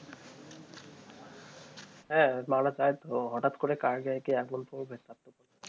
হ্যাঁ, মারা যায় তো হঠাৎ করে কার গায়ে কে